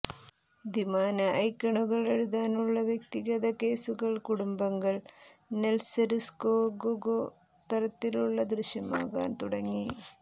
ദ്വിമാന ഐക്കണുകൾ എഴുതാനുള്ള വ്യക്തിഗത കേസുകൾ കുടുംബങ്ങൾ നെത്സര്സ്കൊഗൊ തരത്തിലുള്ള ദൃശ്യമാകാൻ തുടങ്ങി